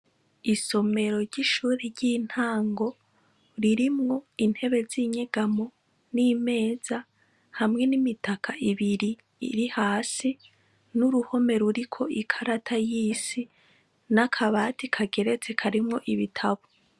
Isomero ry'ishuri ry'intango ririmwo intebe z'inyegamo n'imeza hamwe n'imitaka ibiri iri hasi n'uruhome ruriko ikarata y'isi n'akabati kageretse karimwo ibitabo.